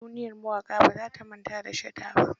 Duniyar mawaƙa ba za ta manata da shata ba.